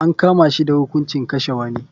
An kama shi da hukuncin kashe wani.